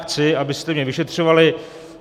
Chci, abyste mě vyšetřovali.